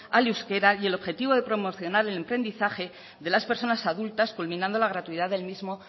al euskara y el objetivo de promocionar el emprendizaje de las personas adultas culminando la gratuidad del mismo